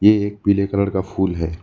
ये एक पीले कलर का फूल है।